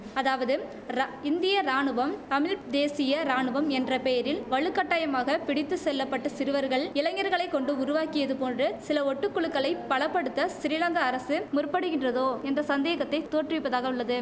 அதாவதும் ர இந்திய ராணுவம் தமிழ் தேசிய ராணுவம் என்ற பெயரில் வலுக்கட்டாயமாக பிடித்து செல்ல பட்டு சிறுவர்கள் இளைஞர்களை கொண்டு உருவாக்கியது போன்று சில ஒட்டுக்குழுக்களைப் பல படுத்த சிறிலங்கா அரசு முற்படுகின்றதோ என்ற சந்தேகத்தை தோற்றுவிப்பதாகவுள்ளது